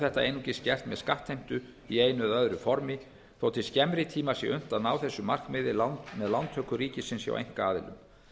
þetta einungis gert með skattheimtu í einu eða öðru formi þótt til skemmri tíma sé unnt að ná þessu marki með lántöku ríkisins hjá einkaaðilum